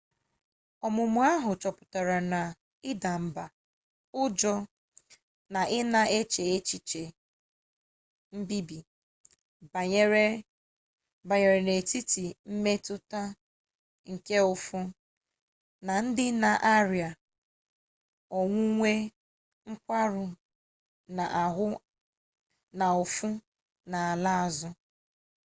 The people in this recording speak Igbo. ọmụmụ ahụ chọpụtara na ịda mba ụjọ na ị na-eche ihe mbibi banyere n'etiti mmetụta nke ụfụ na ndị na-arịa onwunwe nkwarụ n'ụfụ ala azụ